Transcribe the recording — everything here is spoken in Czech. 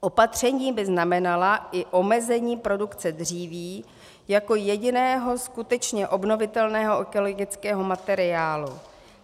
Opatření by znamenala i omezení produkce dříví jako jediného skutečně obnovitelného ekologického materiálu.